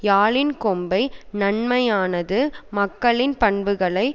யாழின் கொம்பு நன்மையானது மக்களின் பண்புகளை